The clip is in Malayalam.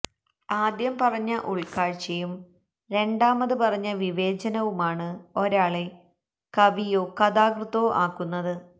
ആദ്യം പറഞ്ഞ ഉൾക്കാഴ്ചയും രണ്ടാമത് പറഞ്ഞ വിവേചനവുമാണ് ഒരാളെ കവിയോ കഥാകൃത്തോ ആക്കുന്നത്